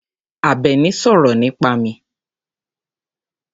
Àbẹ̀ní sọ̀rọ̀ nípa mi.